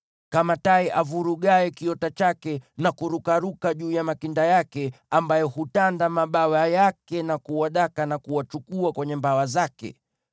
kama tai avurugaye kiota chake, na kurukaruka juu ya makinda yake, ambaye hutanda mabawa yake kuwadaka, na huwachukua kwenye mabawa yake.